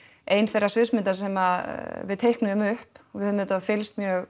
ein þeirra sviðsmynda sem við teiknuðum upp við höfum auðvitað fylgst mjög